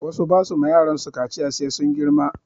Wasu ba su ma yaransu kaciya sai sun girma